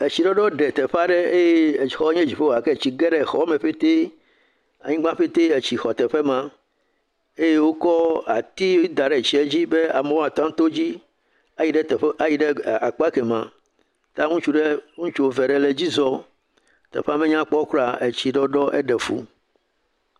Etsi ɖɔɖɔ ɖe teƒe aɖe eye exɔ nye dziƒo xɔ gake etsi ɖɔ ɖe xɔme petee. Anyigba petee etsi xɔ teƒe maa eye wokɔ ati da ɖe etsia dzi be amewo woateŋu ato dzi ayi ɖe akpa ke mee, ya , ya ŋutsu ɖe, ŋutsu eve le edzi zɔm. Teƒea me nyakpɔ kraa o. Etsi ɖɔɖɔ eɖe fuu.